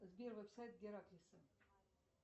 сбер веб сайт гераклиса